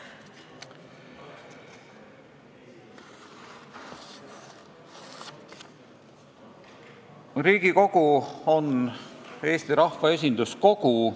Riigikogu on Eesti rahva esinduskogu.